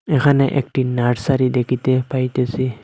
এখানে একটি নার্সারি দেখিতে পাইতেসি।